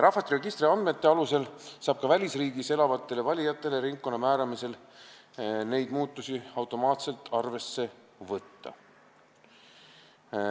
Rahvastikuregistri andmete alusel saab ka välisriigis elavatele valijatele ringkonna määramisel neid muudatusi automaatselt arvesse võtta.